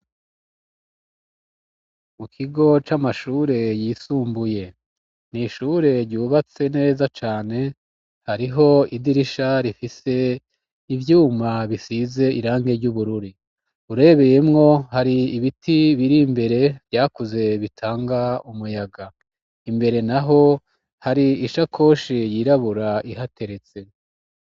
Ikigo c'amashure yisumbuye nishure ryubatse neza cane hariho idirisha rifise ivyuma bisize irange ry'ubururi urebeyemwo hari ibiti biri mbere vyakuze bitanga umuyaga imbere na ho hari ishakoshe yirabura ihateretse.